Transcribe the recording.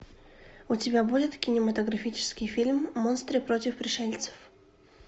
у тебя будет кинематографический фильм монстры против пришельцев